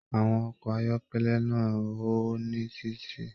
Àwọn ọkọ ayọkẹlẹ náà n ho ní titi.